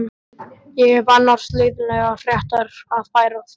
Ég hef annars leiðinlegar fréttir að færa þér.